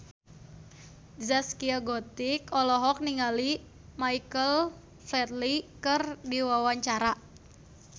Zaskia Gotik olohok ningali Michael Flatley keur diwawancara